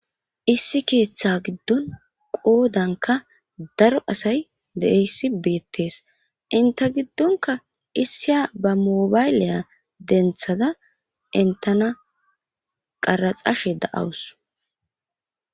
Issi ketha gidon qodanka daro asay de'iyaysi betes enta gidonka isiya ba mobayliya dentada dentana qaraxashe da'awus.